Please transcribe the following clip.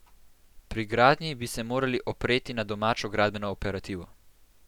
Pri gradnji bi se morali opreti na domačo gradbeno operativo.